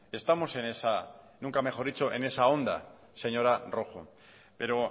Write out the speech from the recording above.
estamos en esa nunca mejor dicho onda señora rojo pero